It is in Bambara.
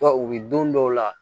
u bɛ don dɔw la